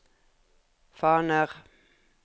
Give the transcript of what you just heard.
faner